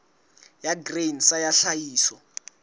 ya grain sa ya tlhahiso